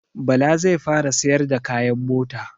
Bala zai fara siyar da kayan mota